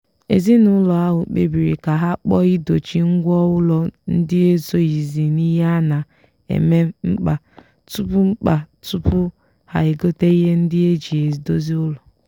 ezinụlọ ahụ kpebiri ka ha kpọọ idochi ngwa ụlọ ndị esoghizi n'ihe a na-eme mkpa tupu mkpa tupu ha egote ihe ndị eji edozi ụlọ.